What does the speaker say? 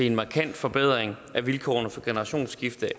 en markant forbedring af vilkårene for generationsskifte